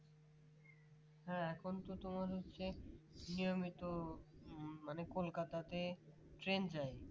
হ্যাঁ এখন তো তোর হচ্ছে নিয়মিত মানে কলকাতাতে train যায়